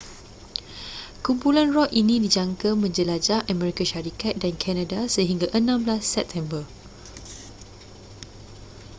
kumpulan rock ini dijangka menjelajah amerika syarikat dan kanada sehingga 16 september